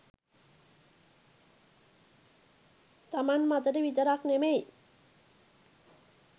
තමන් මතට විතරක් නෙමෙයි